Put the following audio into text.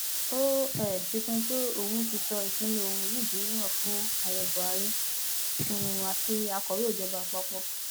ó um fi kún un pé òun ti sọ ìpinnu òun yìí di mímọ fún ààrẹ buhari um àti akọwé ìjọba àpapọ